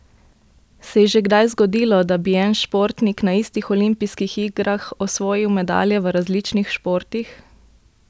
Se je že kdaj zgodilo, da bi en športnik na istih olimpijskih igrah osvojil medalje v različnih športih?